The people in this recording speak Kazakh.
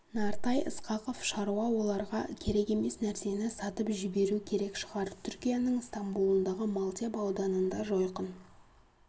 нартай ысқақов шаруа оларға керек емес нәрсені сатып жіберу керек шығар түркияның стамбулындағы малтеп ауданында жойқын